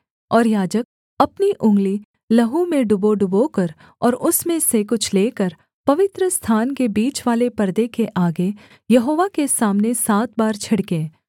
और याजक अपनी उँगली लहू में डुबोडुबोकर और उसमें से कुछ लेकर पवित्रस्थान के बीचवाले पर्दे के आगे यहोवा के सामने सात बार छिड़के